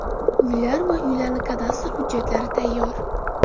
Uylar va ularni kadastr hujjatlari tayyor.